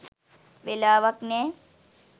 වෙලාවක් නෑ.